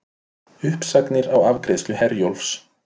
Uppsagnir á afgreiðslu Herjólfs